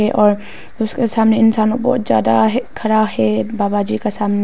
और उसके सामने इंसानों लोग बहोत जादा है खड़ा है बाबा जी का सामने--